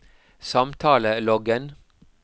samtaleloggen